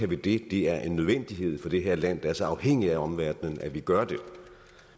vi det det er en nødvendighed for det her land der er så afhængigt af omverdenen at vi gør det